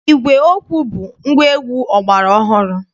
Ígwè okwu bụ ngwaegwu ọgbara ọhụrụ.